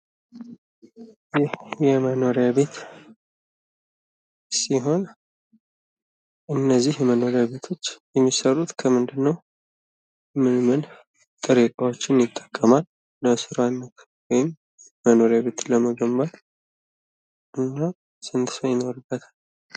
የመኖሪያ ቤት ሲሆን እነዚህ መኖሪያ ቤቶች የሚሰሩት ከምንድን ነው? ምን ምን ጥሬ እቃዎችን ይጠቀማል? መኖሪያ ቤት ለመገንባት ስንት ሰው ይኖርበታል?